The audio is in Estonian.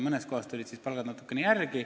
Mõned palgad tulid natukene teistele järele.